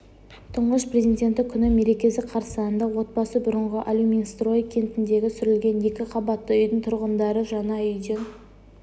тұңғыш президенті күні мерекесі қарсаңында отбасы бұрынғы алюминстрой кентіндегі сүрілген екі қабатты үйдің тұрғындары жаңа үйден